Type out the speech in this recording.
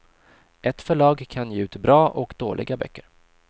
Ett förlag kan ge ut bra och dåliga böcker.